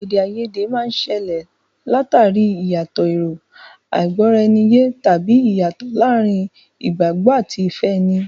Èdè àìyedè máa ń ṣẹlẹ̀ l'àtàrí ìyàtọ̀ èrò, àìgbọ́-ara-ẹni-yé, tàbí ìyàtọ̀ láàárín ìgbàgbọ́ àti ìfẹ́ ẹni.